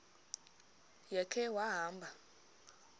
ya khe wahamba